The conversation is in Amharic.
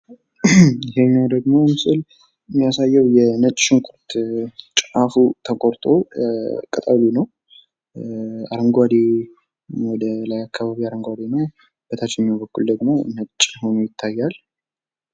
ይሄኛው ደሞ ምስል የሚያሳየው የነጭ ሽንኩርት ጫፉ ተቆርጦ ቅጠሉ ነው። ወደላይ አካባቢ አረንጓዴ ነው በታችኛው በኩል ደግሞ ነጭ ሆኖ ይታያል።